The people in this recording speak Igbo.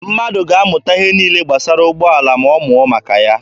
Mmadụ ga-amụta ihe niile gbasara ụgbọala ma ọ mụọ maka ya.